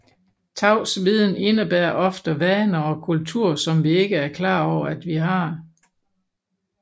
Tavs viden indebærer ofte vaner og kultur som vi ikke er klar over vi har